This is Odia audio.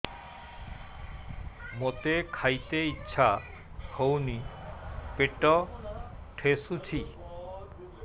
ମୋତେ ଖାଇତେ ଇଚ୍ଛା ହଉନି ପେଟ ଠେସୁଛି